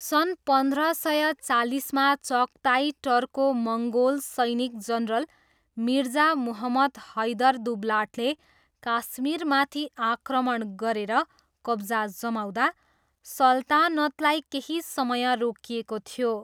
सन् पन्ध्र सय चालिसमा चागताई टर्को मङ्गोल सैनिक जनरल मिर्जा मुहम्मद हैदर दुब्लाटले काश्मीरमाथि आक्रमण गरेर कब्जा जमाउँदा सल्तानतलाई केही समय रोकिएको थियो।